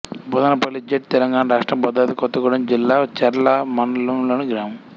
బోదనల్లి జెడ్ తెలంగాణ రాష్ట్రం భద్రాద్రి కొత్తగూడెం జిల్లా చర్ల మండలంలోని గ్రామం